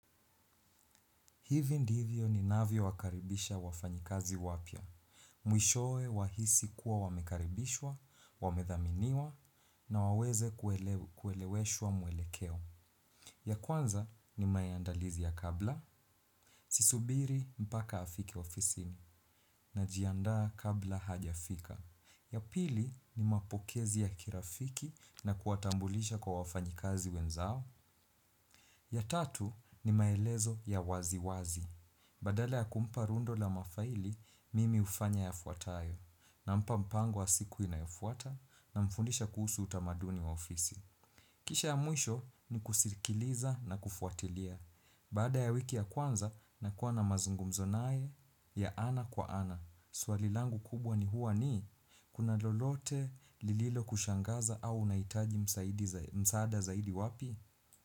Hivi ndivyo ninavyo wakaribisha wafanyikazi wapyo. Mwishowe wahisi kuwa wamekaribishwa, wamedhaminiwa na waweze kueleweshwa mwelekeo. Ya kwanza ni maandalizi ya kabla sisubiri mpaka afike ofisini na jiandaa kabla hajafika. Ya pili ni mapokezi ya kirafiki na kuwatambulisha kuwa wafanyikazi wenzao. Ya tatu ni maelezo ya wazi wazi. Badala ya kumpa rundo la mafaili, mimi hufanya ya fuatayo. Nampa mpango wa siku inayofuata namfundisha kuhusu utamaduni wa ofisi. Kisha ya mwisho ni kusikiliza na kufuatilia. Baada ya wiki ya kwanza na kuwa na mazungumzo naye ya ana kwa ana. Swali langu kubwa ni huwa ni kuna lolote lililo kushangaza au unahitaji msaada zaidi wapi?